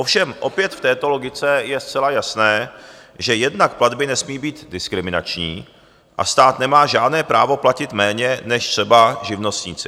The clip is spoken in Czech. Ovšem opět v této logice je zcela jasné, že jednak platby nesmí být diskriminační a stát nemá žádné právo platit méně než třeba živnostníci.